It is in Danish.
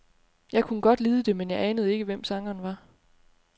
Jeg kunne godt lide det, men jeg anede ikke, hvem sangeren var.